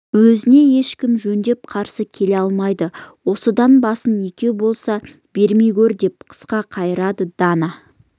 өзіне ешкім жөндеп қарсы келе алмайды осыдан басың екеу болса бермей көр деп қысқа қайырады дана